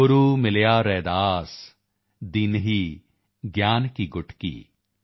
ਗੁਰੂ ਮਿਲਿਆ ਰੈਦਾਸ ਦੀਨਹੀ ਗਿਆਨ ਕੀ ਗੁਟਕੀ